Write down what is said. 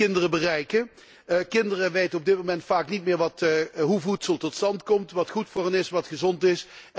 Kinderen weten op dit moment vaak niet meer hoe voedsel tot stand komt, wat goed voor hen is, wat gezond is